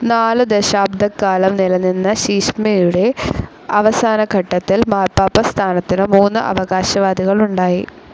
നാലു ദശാബ്ദക്കാലം നിലനിന്ന ശീശ്മയുടെ അവസാനഘട്ടത്തിൽ മാർപ്പാപ്പാ സ്ഥാനത്തിന് മൂന്ന് അവകാശവാദികളുണ്ടായി.